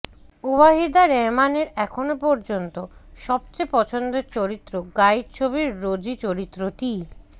ওয়াহিদা রহমানের এখনও পর্ষন্ত সবচেয়ে পছন্দের চরিত্র গাইড ছবির রোজি চরিত্রটিই